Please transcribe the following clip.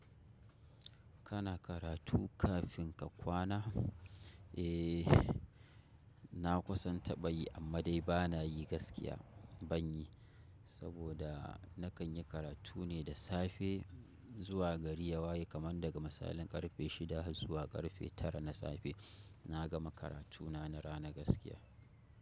Kana karatu kafin ka kwana? Eh, na kusan taɓa yi amma dai ba na yi gaskiya ban yi. Saboda na kan yi karatu ne da safe zuwa gari yawayi kamar daga misalin karfe shida har zuwa karfe tara na safe. Na gama karatu na na rana gaskiya.